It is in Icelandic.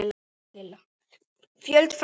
Fjöld fræða